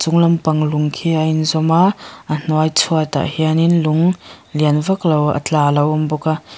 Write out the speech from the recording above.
chung lam pang lung khi a in zawm a a hnuai chhuat ah hian in lung lian vak lo a tla a lo awm bawk a.